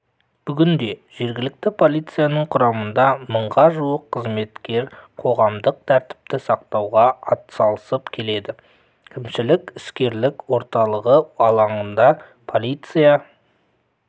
бүгінде жергілікті полицияның құрамында мыңға жуық қызметкер қоғамдық тәртіпті сақтауға атсалып келеді кімшілік-іскерлік орталығы алаңында полиция